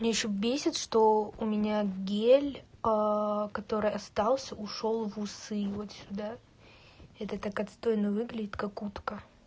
меня ещё бесит что у меня гель который остался ушёл в усы вот сюда это так отстойно выглядит как утка